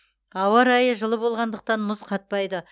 ауа райы жылы болғандықтан мұз қатпайды